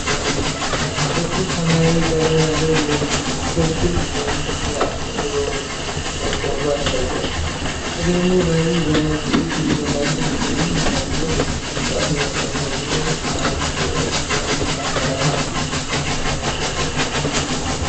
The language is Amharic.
ጥቁር ሰማያዊ ቀለም ያለው ክብ የኒቬያ ክሬም ቆርቆሮ ያሳያል። በክሬሙ ላይ በነጭ ፊደላት ክሪም ተብሎ ሲጻፍ፣ መጠኑ ደግሞ 1oz (29ግ) እና 30ሚሊ ሊትር እንደሆነ ተገልጿል?